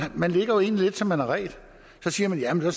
man ligger jo egentlig lidt som man har redt så siger man at man